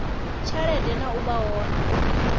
tshelede na u vha hone